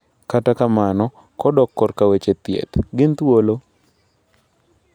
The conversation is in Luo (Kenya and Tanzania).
Kata kamano, kodok korka weche thieth, gin thuolo?